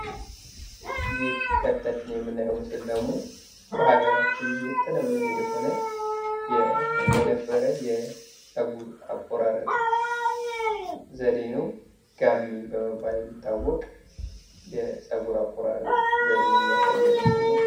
ይህ ከፊታችን የምናየው ምስል ደግሞ በሀገራችን የተለመደ የሆነ የነበረ የፀጉር አቆራረጥ ዘዴ ነው ፤ ጋሜ በመባል የሚታወቅ የፀጉር አቆራረጥ ዘዴን የሚያሳየን ምስል ነው።